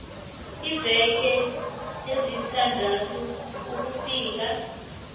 iimveke ezisithandathu ukufika